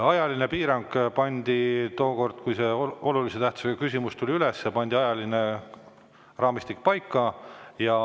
Ajaline piirang ja raamistik pandi paika tookord, kui see olulise tähtsusega küsimus üles tuli.